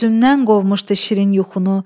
Gözümdən qovmuşdu şirin yuxunu.